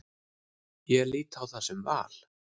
Ég lít á það sem val.